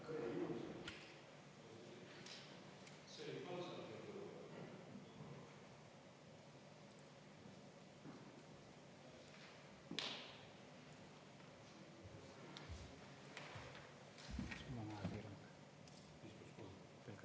Jah, palun, minister!